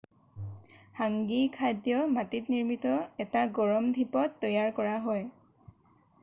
হাংগী খাদ্য মাটিত নিৰ্মিত এটা গৰম ধিপত তৈয়াৰ কৰা হয়